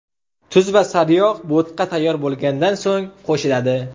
Tuz va saryog‘ bo‘tqa tayyor bo‘lgandan so‘ng qo‘shiladi.